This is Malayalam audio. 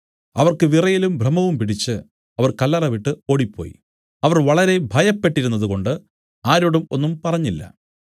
അവർക്ക് വിറയലും ഭ്രമവും പിടിച്ച് അവർ കല്ലറ വിട്ടു ഓടിപ്പോയി അവർ വളരെ ഭയപ്പെട്ടിരുന്നതുകൊണ്ട് ആരോടും ഒന്നും പറഞ്ഞില്ല